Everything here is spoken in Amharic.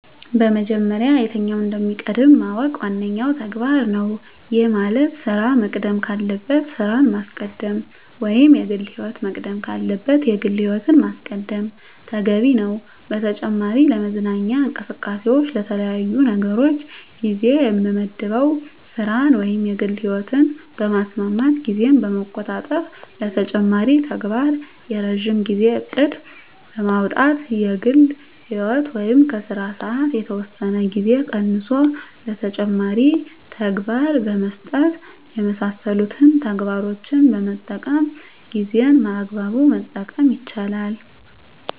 በመጀመሪያ የትኛው እንደሚቀድም ማወቅ ዋነኛው ተግባር ነው። ይህ ማለት ስራ መቅደም ካለበት ስራን ማስቀደም ወይም የግል ህይወት መቅደም ካለበት የግል ህይወትን ማስቀደም ተገቢ ነው። በተጨማሪ ለመዝናኛ እንቅስቃሴዎች ለተለያዩ ነገሮች ጊዜ የምመድበው ስራን ወይም የግል ህይወትን በማስማማት ጊዜን በመቆጣጠር ለተጨማሪ ተግባር የረጅም ጊዜ እቅድ በማውጣት ከግል ህይወት ወይም ከስራ ሰዓት የተወሰነ ጊዜ ቀንሶ ለተጨማሪ ተግባር በመስጠት የመሳሰሉትን ተግባሮችን በመጠቀም ጊዜን በአግባቡ መጠቀም ይቻላል።